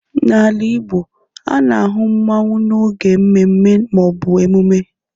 n’ala Igbo, a na-ahụ mmanwu n’oge mmemme ma ọ bụ emume